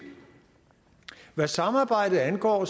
hvad samarbejdet angår